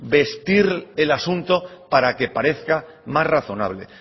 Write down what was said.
vestir el asunto para que parezca más razonable